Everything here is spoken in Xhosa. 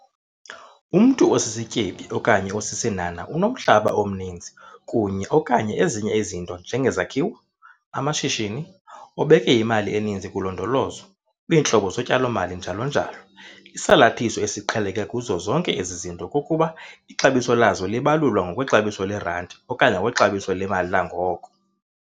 Umntu osisityebi okanye osisinhanha unomhlaba omninzi kunye - okanye ezinye izinto njengezakhiwo, amashishini, obeke imali eninzi kulondolozo, kwiintlobo zotyalo-mali njalo njalo. Isalathiso esiqheleke kuzo zonke ezi zinto kukuba ixabiso lazo libalulwa ngokwexabiso le-R okanye ngokwexabiso lemali langoko.